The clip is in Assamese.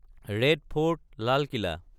ৰেড ফৰ্ট (লাল কিলা)